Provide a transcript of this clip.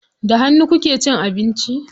Da hannu kuke cin abinci?